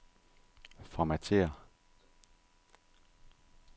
Formatér.